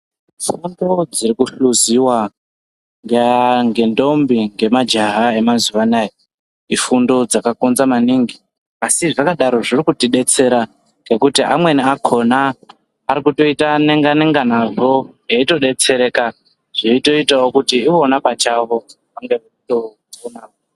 Fundo dzirikuhluziwa ngentombi ngemajaha emazuwa anaya ifundo dzakakonza maningi asi zvakadaro zviri kutidetsera ngekuti amweni akona arikutoita nenga nenga nazvo eitodetsereka zveitoitawo kuti ivona pachavo vange veitopona.